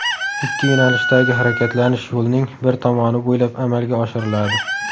Ikki yo‘nalishdagi harakatlanish yo‘lning bir tomoni bo‘ylab amalga oshiriladi.